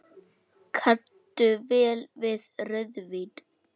Kanntu vel við rauðvín?